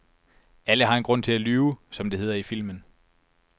Alle har en grund til at lyve, som det hedder i filmen.